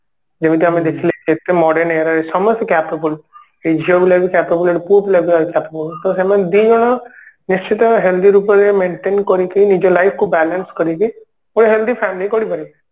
ଯେମିତି ଆମେ ଦେଖିଲେ କେତେ modern ସମସ୍ତେ capable ଏଇ ଝିଅ ପିଲା ବି capable ପୁଅ ପିଲା ବି capable ତ ସେମାନେ ଦି ଜଣ ନିଶ୍ଚିନ୍ତ healthy ରୂପରେ maintain କରିକି ନିଜ life କୁ balance କରିକି ଗୋଟେ healthy family ଗଢି ପାରିବେ